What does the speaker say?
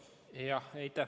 Aitäh!